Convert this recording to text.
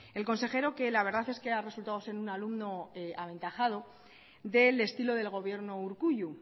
el consejero la verdad que ha resultado ser un alumno aventajado del estilo del gobierno urkullu